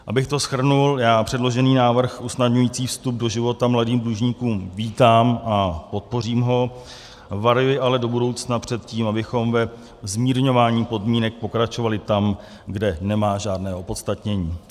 Abych to shrnul, já předložený návrh usnadňující vstup do života mladým dlužníkům vítám a podpořím ho, varuji ale do budoucna před tím, abychom ve zmírňování podmínek pokračovali tam, kde nemá žádné opodstatnění.